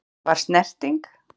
Var snerting?